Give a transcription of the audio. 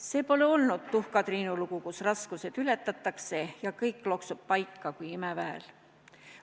See pole olnud tuhkatriinulugu, kus raskused ületatakse ja kõik loksub paika kui imeväel.